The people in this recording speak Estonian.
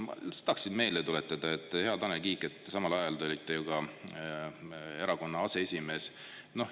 Ma lihtsalt tahaksin meelde tuletada, et, hea Tanel Kiik, samal ajal te olite ju ka erakonna aseesimees.